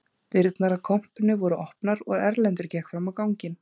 Dyrnar að kompunni voru opnar og Erlendur gekk fram á ganginn